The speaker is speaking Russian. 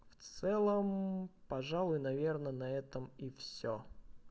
в целом пожалуй наверное на этом и всё